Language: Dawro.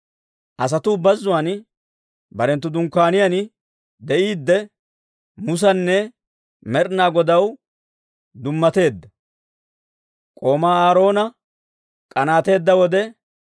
Asatuu bazzuwaan barenttu dunkkaaniyaan de'iiddi, Musanne Med'inaa Godaw dummateedda, k'oomaa Aaroona k'anaateedda wode,